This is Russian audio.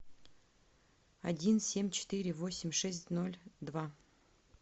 один семь четыре восемь шесть ноль два